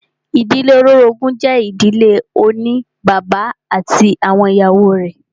Ìdílé olórogún jẹ́ ìdílé oní bàbá ati awọn ìyàwó rẹ̀.